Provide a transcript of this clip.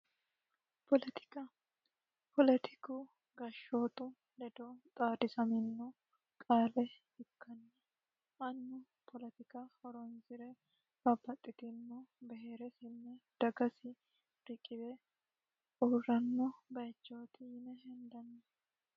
Poletika poletiku gashshootu ledo xaadisaminno qaale ikkanni annu polotika horoonsire babaxxitinno beheere sinne dagasi riqiwe uurranno bayichooti yine hendanni